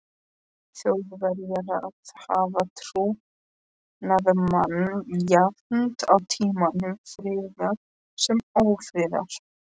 Þjóðverja að hafa trúnaðarmann jafnt á tímum friðar sem ófriðar.